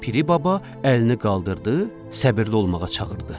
Piri baba əlini qaldırdı, səbirli olmağa çağırdı.